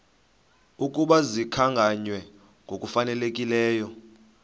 ukuba zikhankanywe ngokufanelekileyo